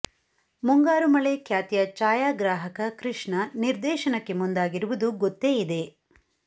ಮುಂಗಾರು ಮಳೆ ಖ್ಯಾತಿಯ ಛಾಯಾಗ್ರಾಹಕ ಕೃಷ್ಣ ನಿರ್ದೇಶನಕ್ಕೆ ಮುಂದಾಗಿರುವುದು ಗೊತ್ತೇ ಇದೆ